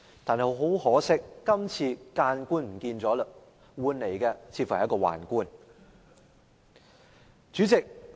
但是，很可惜，今次諫官就沒有了，有的似乎是一名宦官。